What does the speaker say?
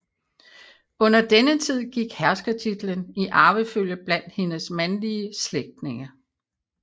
Under denne tid gik herskertitlen i arvefølge blandt hendes mandliga slægtinge